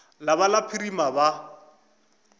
la ba la phirima ba